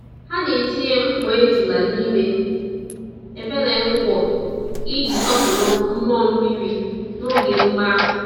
Ha na-etinye mkpọ́ ejula n'ime ebele-ngwọ iji sọpụrụ mmụọ mmiri n'oge emume ahụ.